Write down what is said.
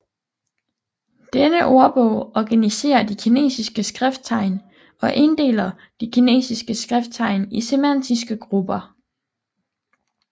Denne ordbog organiserer de kinesiske skrifttegn og inddeler de kinesiske skrifttegn i semantiske grupper